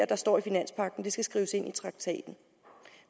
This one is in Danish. der står i finanspagten skal skrives ind i traktaten